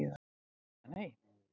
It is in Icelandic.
Eða nei.